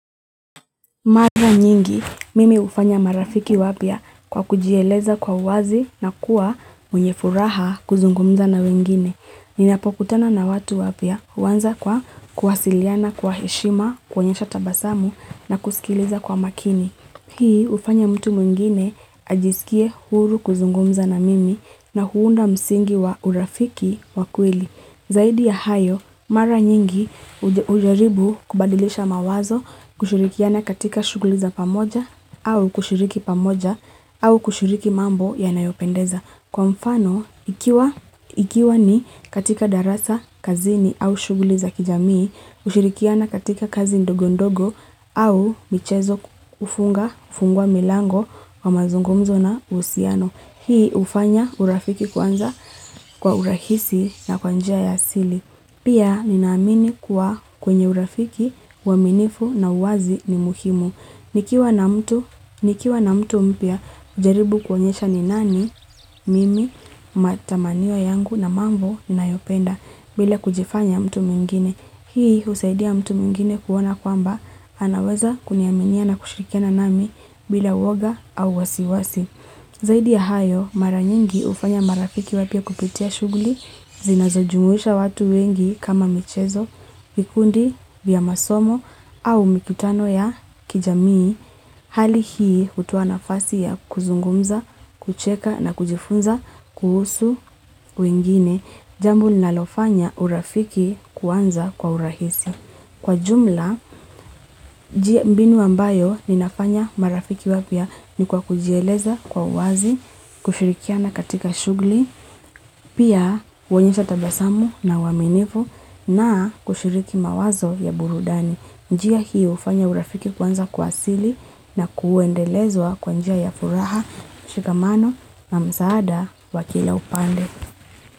Mara nyingi, mimi hufanya marafiki wapya kwa kujeleza kwa uwazi na kuwa mwenye furaha kuzungumza na wengine. Ninapokutana na watu wapya huanza kwa kuwasiliana kwa heshima, kuonyesha tabasamu na kusikiliza kwa makini. Hii hufanya mtu mwingine ajisikie huru kuzungumza na mimi na huunda msingi wa urafiki wa kwelii. Zaidi ya hayo, mara nyingi hujaribu kubadilisha mawazo kushirikiana katika shughuli za pamoja au kushiriki pamoja au kushiriki mambo yanayopendeza. Kwa mfano, ikiwa ni katika darasa kazini au shuguli za kijamii, kushurikiana katika kazi ndogo ndogo au michezo ufunga, ufungwa milango wa mazungumzo na usiano. Hii hufanya urafiki kwanza kwa urahisi na kwa njia ya sili. Pia ninaamini kuwa kwenye urafiki uaminifu na uwazi ni muhimu. Nikiwa na mtu mpya hujaribu kuonyesha ni nani mimi mataminio yangu na mambo nayoyapenda bila kuonyesha mtu mwingine. Hii husaidia mtu mwingine kuona kwamba anaweza kuniaminia na kushirikia nami bila uoga au wasiwasi. Zaidi ya hayo, maranyingi hufanya marafiki wapys kupitia shughuli, zinazojumuisha watu wengi kama michezo, mikundi, vya masomo, au mikutano ya kijamii, hali hii hutoa nafasi ya kuzungumza, kucheka na kujifunza, kuhusu wengine, jambo linalofanya urafiki kuanza kwa urahisi. Kwa jumla, mbinu ambayo ninafanya marafiki wapya ni kwa kujieleza kwa uwazi, kushirikia na katika shughuli, pia kuonyesha tabasamu na uaminifu na kushiriki mawazo ya burudani. Njia hii hufanya urafiki kwanza kwa asili na kuendelezwa kwa njia ya furaha, mshikamano na msaada wakila upande.